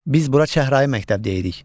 Biz bura çəhrayı məktəb deyirik.